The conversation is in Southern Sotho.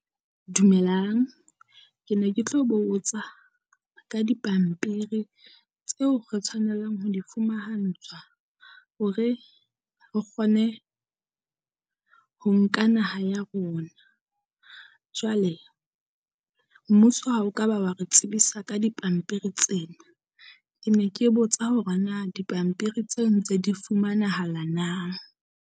Dumelang, ke ne ke tlo botsa ka dipampiri tseo re tshwanelang ho di fumahantshwa hore re kgone ho nka naha ya rona. Jwale mmuso ha o ka ba wa re tsebisa ka dipampiri tsena. Ke ne ke botsa hore na dipampiri tseo ntse di fumanahala na?